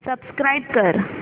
subscribe कर